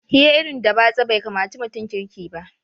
Hira irin da batsa bai kamaci mutum kirki ba